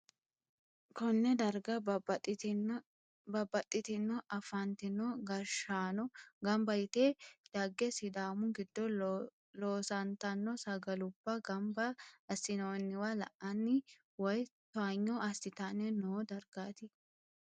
konne darga babbaxxitino afantino gashshaano gamba yite dagge sidaamu giddo loosantanno sagalubba gamba assi'noonniwa la'anninna woy towaanyo assitanni noo dargaaati.